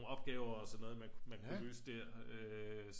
Opgaver og sådan noget man kunne løse der øh